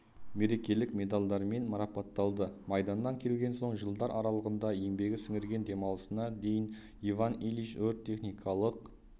мерекелік медальдермен марапатталды майданнан келген соң жылдар аралығында еңбегі сіңірген демалысына дейін иван ильич өрт-техникалық